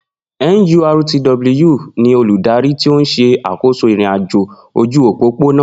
NURTW ni olùdarí tí ó ń ṣe àkóso ìrìn-àjò ojú òpópónà